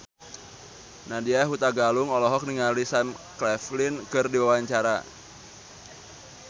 Nadya Hutagalung olohok ningali Sam Claflin keur diwawancara